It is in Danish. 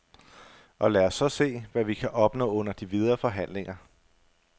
Og lad os så se, hvad vi kan opnå under de videre forhandlinger.